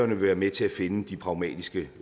vil være med til at finde de pragmatiske